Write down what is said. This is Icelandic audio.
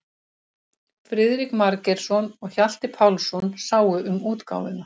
Friðrik Margeirsson og Hjalti Pálsson sáu um útgáfuna.